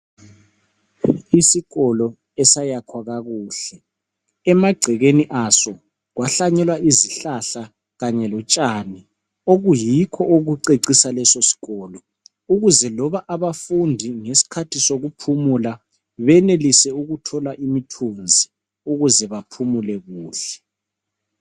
Isikolo esayakhiwa kakuhle emagcekeni aso kwahlanyelwa izihlahla Kanye lotshani okuyikho okucecisa lesisikolo ukuze loba abafundi ngesikhathi sokuphumula benelise ukuthola imithunzi ukuze baphumule kuhle.